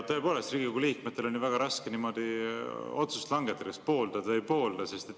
Tõepoolest, Riigikogu liikmetel on väga raske niimoodi langetada otsust, kas pooldad või ei poolda.